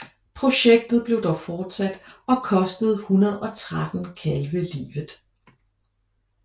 Projektet blev dog fortsat og kostede 113 kalve livet